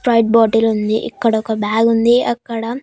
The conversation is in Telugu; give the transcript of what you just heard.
వైట్ బాటిలుంది ఇక్కడ ఒక బ్యాగుంది అక్కడ--